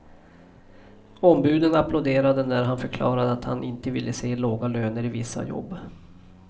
Ombuden applåderade när han förklarade att inte ville se låga löner i vissa jobb.